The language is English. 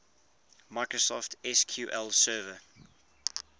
microsoft sql server